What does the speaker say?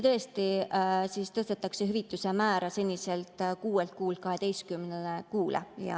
Tõesti tõstetakse hüvitise määra seniselt 6 kuult 12 kuule.